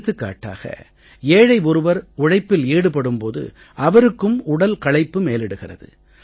எடுத்துக்காட்டாக ஏழை ஒருவர் உழைப்பில் ஈடுபடும் போது அவருக்கும் உடல் களைப்பு மேலிடுகிறது